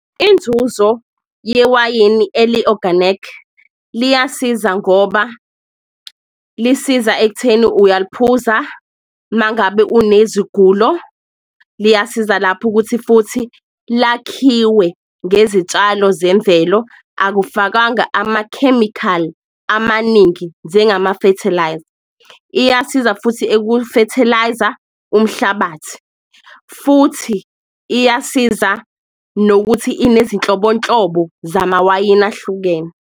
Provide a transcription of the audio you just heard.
Inzuzo yewayini eli-oganikhi liyasiza ngoba lisiza ekutheni uyaliphuza mangabe unezigulo, liyasiza lapho ukuthi futhi lakhiwe ngezitshalo zemvelo, akakufakanga amakhemikhali amaningi njengama-fertiliser. Iyasiza futhi eku-fertiliser umhlabathi, futhi iyasiza nokuthi inezinhlobonhlobo zamawayini ahlukene.